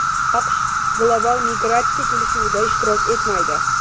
AQSh global migratsiya kelishuvida ishtirok etmaydi.